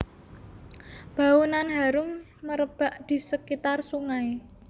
Bau nan harum merebak di sekitar sungai